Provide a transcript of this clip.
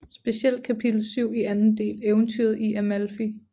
Specielt kapitel syv i anden del Eventyret i Amalfi